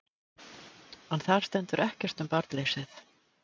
En þar stendur ekkert um barnleysið.